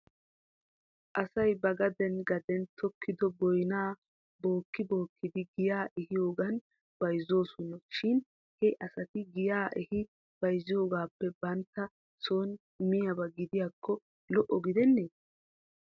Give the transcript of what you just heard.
Asay bagaden gaden tokkido boynaa bookki bookkidi giyaa ehiyoogan bayzoosona shin he asati giyaa ehi bayzziyoogaappe banttawu son miyaaba gidiyaakko lo'o gidennee?